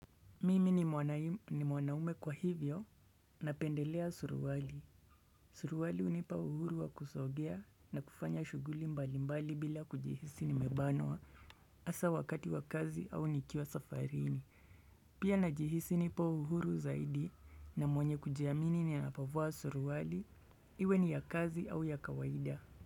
Mimi ni mwanaume kwa hivyo napendelea suruwali. Suruwali hunipa uhuru wa kusogea na kufanya shuguli mbalimbali bila kujihisi nimebanoa asa wakati wa kazi au nikiwa safarini. Pia najihisi nipo uhuru zaidi na mwenye kujiamini ninapovaa suruwali iwe ni ya kazi au ya kawaida.